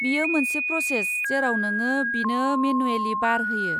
बेयो मोनसे प्र'सेस जेराव नोंङो बिनो मेनुएलि बार होयो।